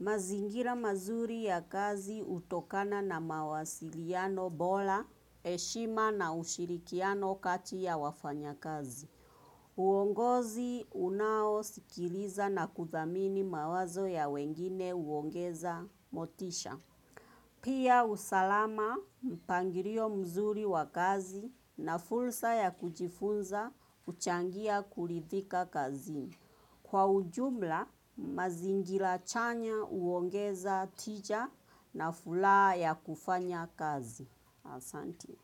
Mazingira mazuri ya kazi hutokana na mawasiliano bora, heshima na ushirikiano kati ya wafanya kazi. Uongozi unao sikiliza na kuthamini mawazo ya wengine huongeza motisha. Pia usalama mpangilio mzuri wa kazi na fursa ya kujifunza huchangia kuridhika kazini. Kwa ujumla, mazingira chanya huongeza tija na furaha ya kufanya kazi. Asanti.